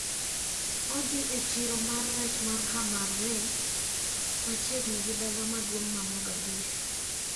Odhi e chiro mar rech ma Hamarweyne machiegni gi dala maduong` ma Mogadishu.